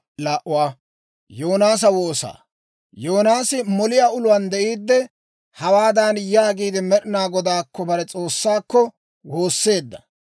Yoonaasi moliyaa uluwaan de'iidde, hawaadan yaagiide, Med'inaa Godaakko, bare S'oossaakko, woosseedda;